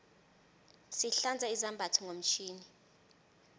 sihlanza izambatho ngomtjhini